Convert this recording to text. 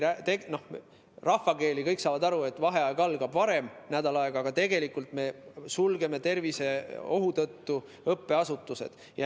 Rahvakeeli rääkides, kõik saavad aru, et vaheaeg algab nädal aega varem, aga tegelikult me sulgeme õppeasutused viiruseohu tõttu.